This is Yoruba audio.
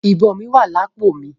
Ìbọn mí wà lápò mi.